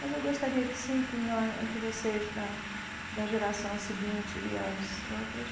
Mas eu gostaria que sim, que nós que vocês da da geração seguinte e as outras,